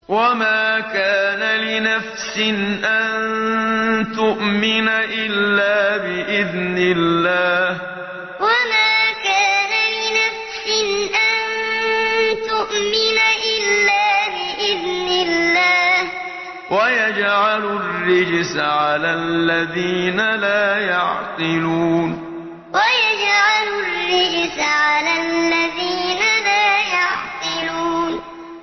وَمَا كَانَ لِنَفْسٍ أَن تُؤْمِنَ إِلَّا بِإِذْنِ اللَّهِ ۚ وَيَجْعَلُ الرِّجْسَ عَلَى الَّذِينَ لَا يَعْقِلُونَ وَمَا كَانَ لِنَفْسٍ أَن تُؤْمِنَ إِلَّا بِإِذْنِ اللَّهِ ۚ وَيَجْعَلُ الرِّجْسَ عَلَى الَّذِينَ لَا يَعْقِلُونَ